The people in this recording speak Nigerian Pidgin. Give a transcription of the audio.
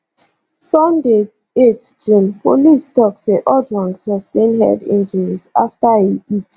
sunday 8 june policetok say ojwang sustain head injuries afta e hit